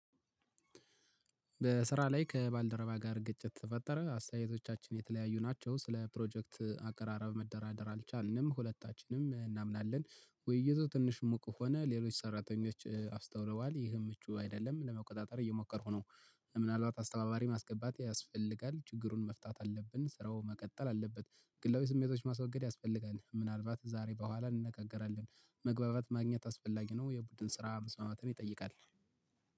በስራ ላይ ከባልደረባ ጋር ግጭት ተፈጠረ አስተያየቶቻችን የተለያዩ ናቸው ስለ ፕሮጀክት አቀራረብ መደራደር አልቻልንም ሁለታችንም እናምናለን ውይይቱ ትንሽ ሙቅ ሆነ ሌሎች ሰራተኞች አስታውለዋል ይህን ምቹ አይደለም ለመቆጣጠር እየሞከርኩ ነው። ምናልባት አስተባባሪ ማስገባት ያስፈልጋል ችግሩን መፍታት አለብን ስራው መቀጠል አለበት ግላዊ ስሜቶች ማስወገድ ያስፈልጋል ምናልባት ዛሬ በኋላ እንነጋገራለን መግባባት ማግኘት አስፈላጊ ነው። የቡድን ስራ መስማማትን ይጠይቃል